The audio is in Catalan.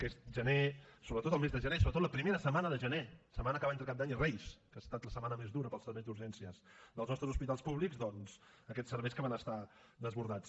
aquest gener sobretot el mes de gener sobretot la primera setmana de gener la setmana que va entre cap d’any i reis que ha estat la setmana més dura per als serveis d’urgències dels nostres hospitals públics doncs aquests serveis que van estar desbordats